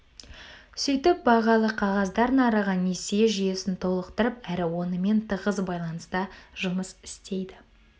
сөйтіп бағалы қағаздар нарығы несие жүйесін толықтырып әрі онымен тығыз байланыста жұмыс істейді